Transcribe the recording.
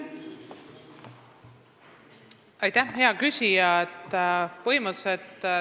Aitäh, hea küsija!